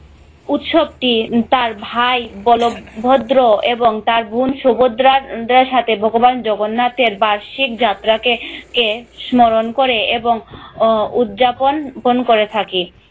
উৎসব টি তার ভাই বল ভদ্র এবং তার বোন শুভদ্রার সাথে ভগবান জগন্নাথের বার্ষিক যাত্রা কে স্মরণ করে এবং আহ উদযাপন পন করে থাকি